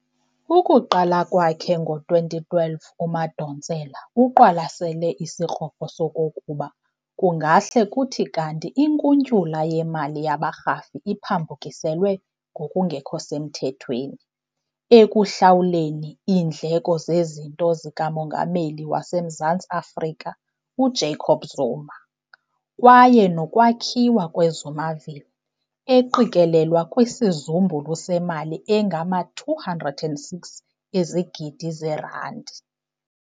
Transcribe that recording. Ukuqala kwakhe ngo-2012, uMadonsela uqwalasele isikrokro sokokuba kungahle kuthi kanti inkuntyula yemali yabarhafi iphambukiselwe ngokungekho mthethweni ekuhlawuleleni iindleko zezinto zika Mongameli waseMzantsi Afrika, uJacob Zuma, kwakunye nokwakhiwa kwe"Zumaville", eqikelelwa kwisizumbulu semali engangama-206 ezigidi zeerandi.